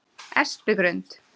Espigrund